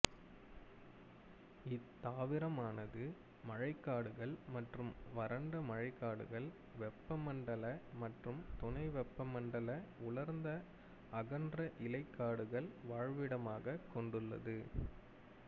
இத்தாவரமானது மழைக்காடுகள் மற்றும் வறண்ட மழைக்காடுகள் வெப்பமண்டல மற்றும் துணை வெப்பமண்டல உலர்ந்த அகன்ற இலைக் காடுகள் வாழ்விடமாக கொண்டுள்ளது